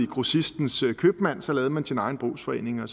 grossistens købmand så lavede man sin egen brugsforening og